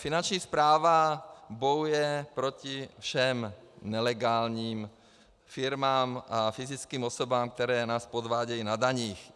Finanční správa bojuje proti všem nelegálním firmám a fyzickým osobám, které nás podvádějí na daních.